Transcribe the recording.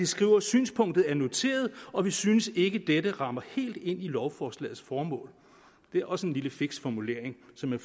skrive synspunktet er noteret og vi synes ikke dette rammer helt ind i lovforslagets formål det er også en lille fiks formulering så man